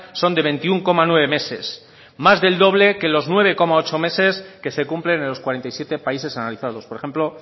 son de veintiuno coma nueve meses más del doble que los nueve coma ocho meses que se cumplen en los cuarenta y siete países analizados por ejemplo